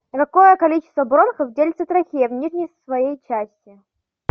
на какое количество бронхов делится трахея в нижней своей части